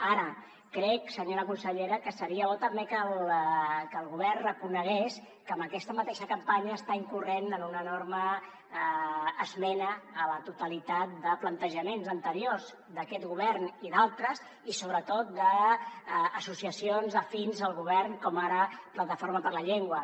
ara crec senyora consellera que seria bo també que el govern reconegués que amb aquesta mateixa campanya està incorrent en una enorme esmena a la totalitat de plantejaments anteriors d’aquest govern i d’altres i sobretot d’associacions afins al govern com ara plataforma per la llengua